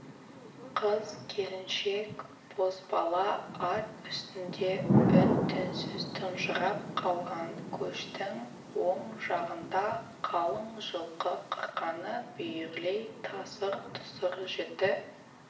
қыз-келіншек бозбала ат үстінде үн-түнсіз тұнжырап қалған көштің оң жағында қалың жылқы қырқаны бүйірлей тасыр-тұсыр жіті